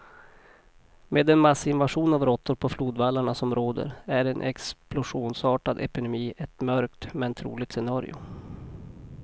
Med den massinvasion av råttor på flodvallarna som råder är en explosionsartad epidemi ett mörkt, men troligt scenario.